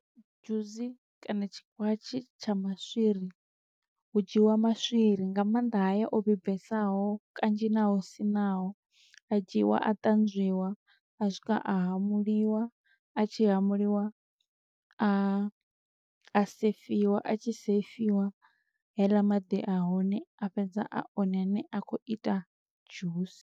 Dzhusi kana tshikwatshe tsha maswiri, hu dzhiwa maswiri nga maanḓa haya o vhibvesaho kanzhi na o siṋaho., a dzhiiwa a ṱanzwiwa, a swika a hamuliwa a tshi hamuliwa a, a sefiwa, a tshi sefiwa heiḽa maḓi a hone a fhedza a one ane a khou ita dzhusi.